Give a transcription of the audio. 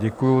Děkuji.